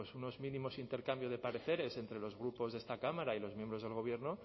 unos mínimos intercambio de pareceres entre los grupos de esta cámara y los miembros del gobierno